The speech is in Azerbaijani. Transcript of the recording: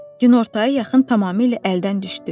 Günortaya yaxın tamamilə əldən düşdü.